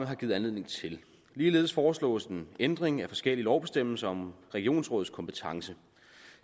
har givet anledning til ligeledes foreslås en ændring af forskellige lovbestemmelser om regionsrådets kompetencer